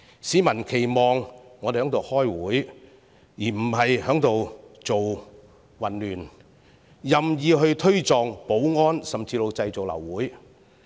市民期望我們開會，而非製造混亂、任意推撞保安人員，甚至製造流會。